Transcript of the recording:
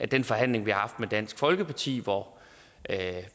den forhandling vi har haft med dansk folkeparti hvor